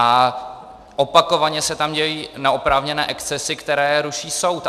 A opakovaně se tam dějí neoprávněné excesy, které ruší soud.